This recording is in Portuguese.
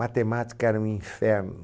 Matemática era um inferno.